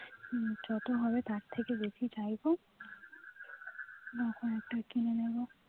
যত হবে তার থেকে বেশি চাইবো তখন একটা কিনে নেবো